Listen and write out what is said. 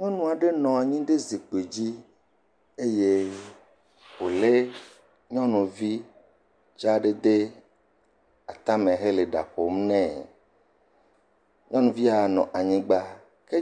Nyɔnu aɖe nɔ anyi ɖe zikpui dzi eye wole nyɔnuvi dzaa aɖe ɖe atame hele ɖa ƒom nɛ. Nyɔnuvia nɔ anyigba.